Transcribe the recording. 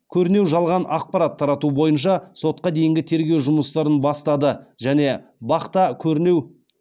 көрінеу жалған ақпарат тарату бойынша сотқа дейінгі тергеу жұмыстарын бастады және бақ та көрінеу